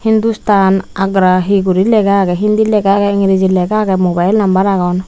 hindustan agra guri hi lega agey hindi lega agey engriji lega agey mobile number agon.